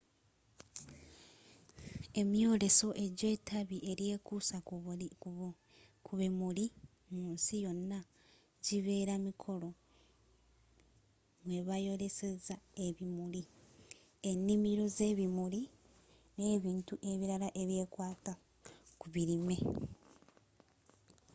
emyooleso egya etabbi elyekuusa ku bimuli mu nsi yonna gyibeera mikolo mwebayolesezza ebimuli e'nnimiro z'ebimuli n'ebintu ebirala ebikwata ku birime